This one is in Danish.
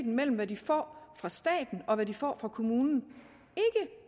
mellem hvad de får fra staten og hvad de får fra kommunen